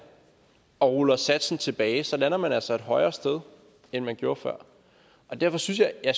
og ruller satsen tilbage lander man altså et højere sted end man gjorde før derfor synes jeg at